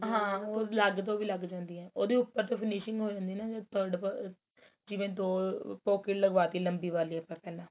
ਹਾਂ ਉਹ ਅਲੱਗ ਤੋਂ ਵੀ ਲੱਗ ਜਾਂਦੀਆ ਉਹਦੇ ਉਪਰ finishing ਹੋ ਜਾਂਦੀ ਏ ਨਾ ਜਦ ਜੀਵਨ ਦੋ pocket ਲਗਵਾ ਤੀ ਲੰਮਬੀ ਵਾਲੀ ਆਪਾਂ ਕਹਿਣੇ ਆ